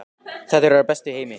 Þetta eru þær bestu í heimi!